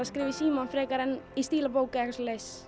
að skrifa í símann frekar en í stílabók